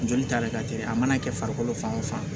Joli ta de ka te a mana kɛ farikolo fan o fan